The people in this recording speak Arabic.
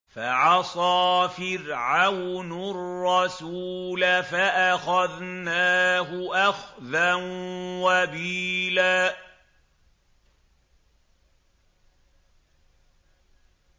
فَعَصَىٰ فِرْعَوْنُ الرَّسُولَ فَأَخَذْنَاهُ أَخْذًا وَبِيلًا